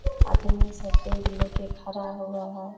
आदमी सब बैग लेके खरा हुआ है।